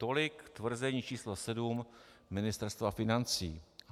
Tolik tvrzení číslo 7 Ministerstva financí.